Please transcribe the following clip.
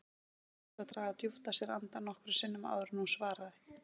Henni tókst að draga djúpt að sér andann nokkrum sinnum áður en hún svaraði.